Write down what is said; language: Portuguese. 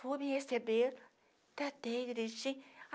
Vou me receber, tatei, direitinho